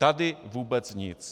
Tady vůbec nic.